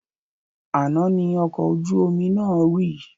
Àná ni ọkọ̀ ojú omi náà rì